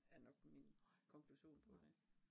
Er nok min konklusion på det